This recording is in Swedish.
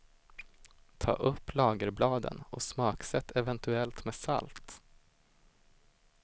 Ta upp lagerbladen och smaksätt eventuellt med salt.